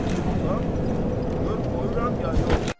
Sən pulu tap, gör qoyuram ya yox.